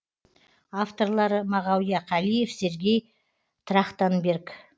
авторлары мағауия қалиев сергей трахтанберг